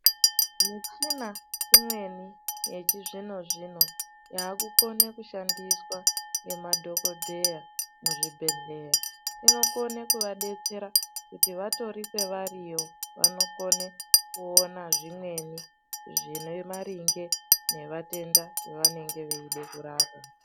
Michina imweni yechizvino zvino yakukona kushandiswa nemadhokodheeya muzvibhedhlera inokona kuvadetsera kuti vatori kwavariyo anokona kuona zvimweni zvine maringe nematenda avanonga eida kurapa.